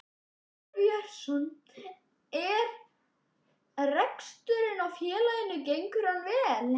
Arnar Björnsson: En reksturinn á félaginu gengur hann vel?